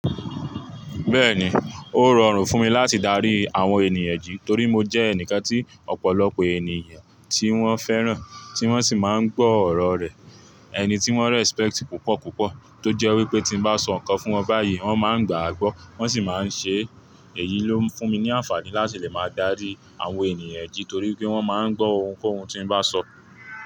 Bẹ́ẹ̀ni, ó rọrùn fún mi láti darí àwọn ènìyàn je torí mo jẹ́ ẹnìkan tí ọ̀pọ̀lọpọ̀ ènìyàn tí wọ́n fẹ́ràn, tí wọ́n sì máa ń gbọ́ ọ̀rọ̀ rẹ̀, ẹni tí wọ́n respect púpọ̀ púpọ̀, tó jẹ́ wípé tí n bá sọ ǹkan fún wọn báyìí wọ́n máa ń gbà á gbọ́, wọ́n sì máa ń ṣe é. Èyí ló ń fún mi ní àǹfààní láti lè máa darí àwọn ènìyàn je torí pé wọ́n máa ń gbọ́ ohunkóhun tí n bá sọ.